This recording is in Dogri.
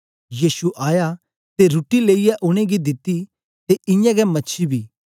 यीशु आया ते रुट्टी लेईयै उनेंगी दिती ते इयां गै मछी बी